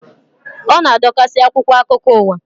Ọ na-adokasị akwụkwọ akụkọ uwa